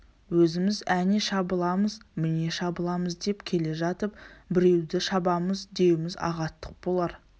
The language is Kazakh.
өзіміз әне шабыламыз міне шабыламыз деп келе жатып біреуді шабамыз деуіміз ағаттық болар